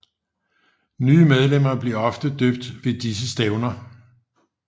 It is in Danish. Nye medlemmer bliver ofte døbt ved disse stævner